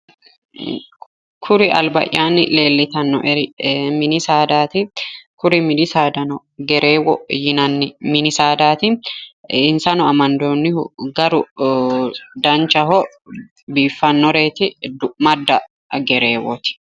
Kuri albaayanni leelittanoeri mini saadati insano amandonni gari baxisanoho insano du'mulle gerrewoti